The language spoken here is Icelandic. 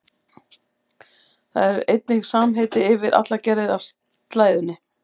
Það er einnig samheiti yfir allar gerðir af slæðunni.